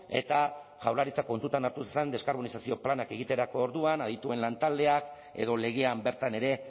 eta jaurlaritzak kontutan hartu zezan deskarbonizazio planak egiterako orduan adituen lantaldeak edo legean bertan ere